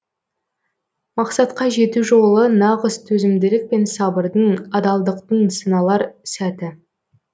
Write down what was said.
мақсатқа жету жолы нағыз төзімділік пен сабырдың адалдықтың сыналар сәті